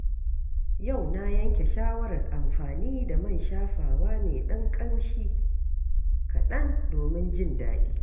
Yau na yanke shawarar amfani da man shafawa mai ɗan ƙamshi kaɗan domin jin daɗi.